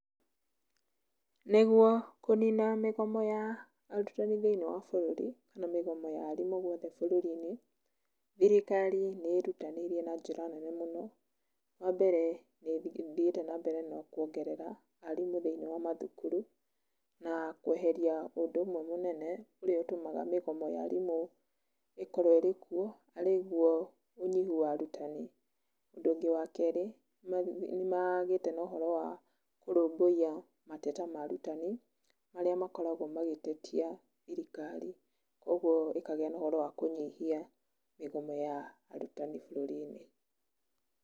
Nĩguo kũnina mĩgomo ya arutani thĩinĩ wa bũrũri, nĩ mĩgomo ya arimũ guothe bũrũri-inĩ, thirikari nĩ ĩrutanĩirie na njĩra nene mũno, wambere nĩ ĩthiĩte nambere na kuongerera arimũ thĩinĩ wa mathukuru, na kweheria ũndũ ũmwe mũnene ũrĩa ũtũmaga mĩgomo ya arimũ ĩkorwo ĩrĩkuo, arĩguo ũnyihu wa arutani. Ũndũ ũngĩ wajkerĩ, nĩmagĩte na ũhoro wa kũrũmbũiya mateta ma arutani, marĩa makoragwo magĩtetia thirikari, ũguo ĩkagĩa na ũhoro wa kũnyihia mĩgomo ya arutani bũrũri-inĩ.